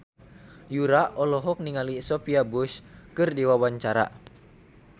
Yura olohok ningali Sophia Bush keur diwawancara